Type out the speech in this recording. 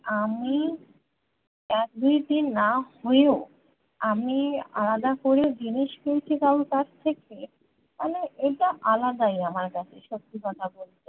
আমি এক দুই তিন না হয়েও আমি আলাদা করে জিনিস পেয়েছি কারোর কাছ থেকে মানে এটা আলাদাই আমার কাছে সত্যি কথা বলতে